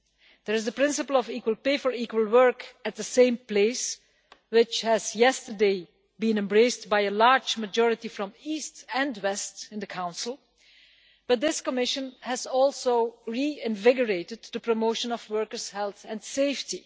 There is the principle of equal pay for equal work at the same place, which has yesterday been embraced by a large majority from East and West in the Council, but this Commission has also reinvigorated the promotion of workers' health and safety.